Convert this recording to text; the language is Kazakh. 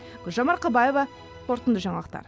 гүлжан марқабаева қорытынды жаңалықтар